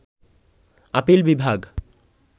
appeal বিভাগ